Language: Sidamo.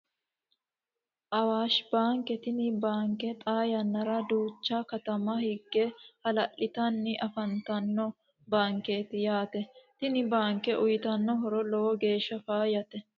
Awaashi baanke tini baanke xaa yannara duucha katama higge ha"la'litanni afantano baankeeti yaate tini baanke uuyitano horo lowo geesha faayate